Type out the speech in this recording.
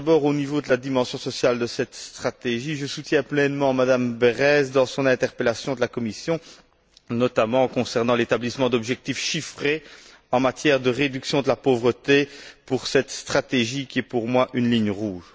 Tout d'abord, au niveau de la dimension sociale de cette stratégie, je soutiens pleinement M me Berès dans son interpellation de la Commission, notamment concernant l'établissement d'objectifs chiffrés en matière de réduction de la pauvreté pour cette stratégie qui est, pour moi, une ligne rouge.